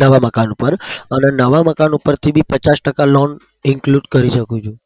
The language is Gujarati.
નવા મકાન ઉપર અને નવા મકાન ઉપરથી બી પચાસ ટકા loan include કરી શકું છું